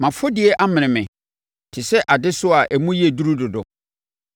Mʼafɔdie amene me te sɛ adesoa a emu yɛ duru dodo.